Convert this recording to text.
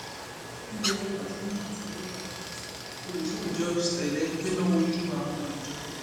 nítorí pasuma àti libre olùṣọ ìjọ ṣẹlẹ gbẹná wojú àwọn ọmọ ìjọ